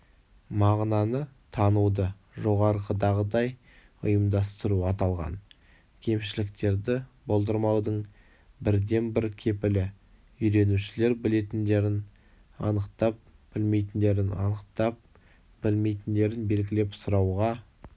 мағынаны тануды жоғарыдағыдай ұйымдастыру-аталған кемшіліктерді болдырмаудың бірден-бір кепілі үйренушілер білетіндерін анықтап білмейтіндерін анықтап білмейтіндерін белгілеп сұрауға